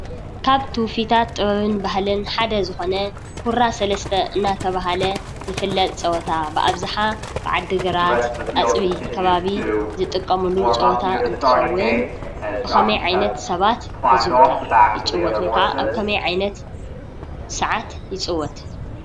ካብ ትውፊታት ጥበብን ባህልን ሓደ ዝኾነ ሁራ ሠለስተ እናተብሃለ ዝፍለጥ ፀወታ ብኣብዝሓ ብዓዲ ግራት ኣጽቢ ከባቢ ዝጥቀሙሉ ፀወታ እንትኸውን ብኸመይ ዓይነት ሰባት ይዘዉተር? ይፅወት? ወይከዓ ኣብ ከመይ ዓይነት ሰዓት ይጽወት?